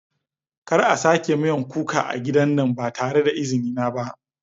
Kar a sake miyan kuka a gidan nan ba tare da izini na ba.